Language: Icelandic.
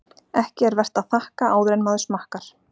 Ekki er vert að þakka áður en maður smakkar.